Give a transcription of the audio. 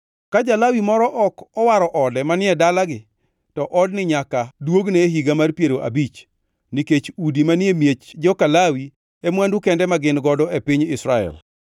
Ka ja-Lawi moro ok owaro ode manie dalagi, to odni nyaka duogne e higa mar piero abich, nikech udi manie miech joka Lawi e mwandu kende ma gin godo e piny Israel.